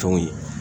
Fɛnw ye